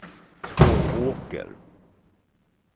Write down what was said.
Tvååker